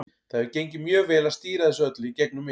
Það hefur gengið mjög vel að stýra þessu öllu í gegnum mig.